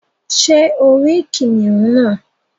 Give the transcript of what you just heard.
Sé o rí kìnìún náà